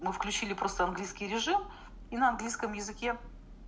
мы включили просто английский режим и на английском языке